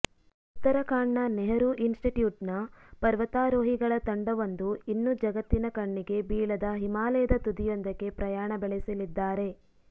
ಉತ್ತರಾಖಂಡ್ನ ನೆಹರೂ ಇನ್ ಸ್ಟಿಟ್ಯೂಟ್ನ ಪರ್ವತಾರೋಹಿಗಳ ತಂಡವೊಂದು ಇನ್ನೂ ಜಗತ್ತಿನ ಕಣ್ಣಿಗೆ ಬೀಳದ ಹಿಮಾಲಯದ ತುದಿಯೊಂದಕ್ಕೆ ಪ್ರಯಾಣ ಬೆಳೆಸಲಿದ್ದಾರೆ